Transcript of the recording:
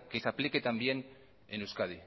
que se aplique también en euskadi